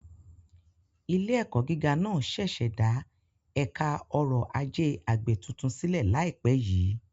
Ilé-ẹ̀kọ́ gíga náà ṣẹ̀ṣẹ̀ dá Ẹ̀ka Ọrọ̀ Ajé Àgbẹ̀ tuntun sílẹ̀ láìpẹ́ yìí.